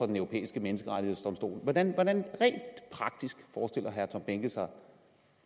den europæiske menneskerettighedsdomstol hvordan forestiller herre tom behnke sig at